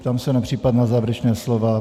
Ptám se na případná závěrečná slova.